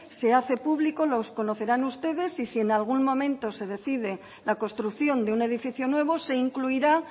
se hace público lo conocerán ustedes y si en algún momento se decide la construcción de un edificio nuevo se incluirá